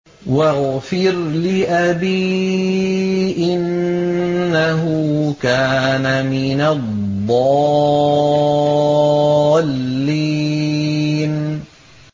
وَاغْفِرْ لِأَبِي إِنَّهُ كَانَ مِنَ الضَّالِّينَ